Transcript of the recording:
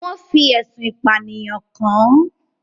Wọ́n fi ẹ̀sùn ìpànìyàn kàn án.